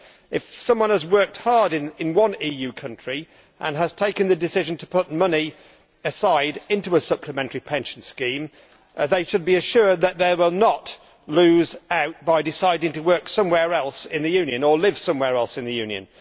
If someone has worked hard in one EU country and has taken the decision to put money aside into a supplementary pension scheme, they should be assured that they will not lose out by deciding to work somewhere else in the Union or to live somewhere else in the Union.